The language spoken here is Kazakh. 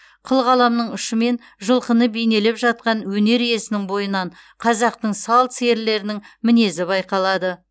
қылқаламның ұшымен жылқыны бейнелеп жатқан өнер иесінің бойынан қазақтың сал серілерінің мінезі байқалады